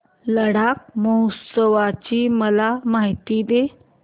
लडाख महोत्सवाची मला माहिती दे